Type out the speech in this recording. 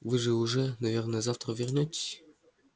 вы же уже наверное завтра вернётесь